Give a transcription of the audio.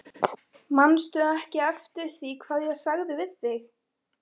Manstu ekki eftir því hvað ég sagði við þig?